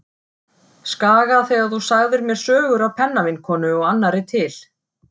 Skaga þegar þú sagðir mér sögur af pennavinkonu og annarri til.